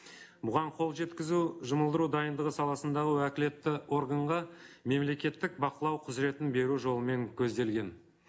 бұған қол жеткізу жұмылдыру дайындығы саласында уәкілетті органға мемлекеттік бақылау құзыретін беру жолымен көзделген